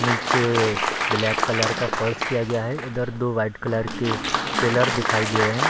नीचे black colour का फर्श किया गया है इधर दो वाइट कलर के पिलर दिखाई दे रहे हैं।